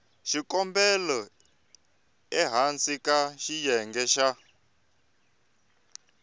xikombelo ehansi ka xiyenge xa